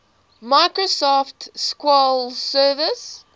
microsoft sql server